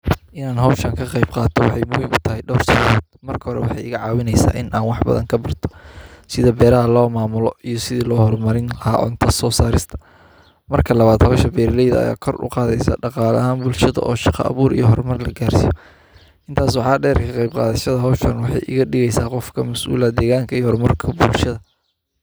Ina howshan ka qen qatoo waxey in badan iga cawinesa, in an wax badan kabarto sidha beraha lo mamulo iya sidhaa lo hormarin laha cunta so sarista, Marka labad howsha beraleyda aya kor u qadesa dhaqala ahan bulsahada oo shaqa bur oo hormar la garsiyo intas waxa der ka qeyb gadashada howshan waxey iga dhigesa , qof ka masul ah deganka ,hormarka iyo bulshada.